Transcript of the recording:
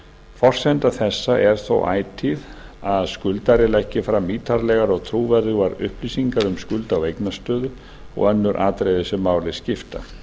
forsenda þessa er þó ætíð að skuldari leggi fram ítarlegar og trúverðugar upplýsingar um skulda og eignastöðu og önnur atriði sem máli skipta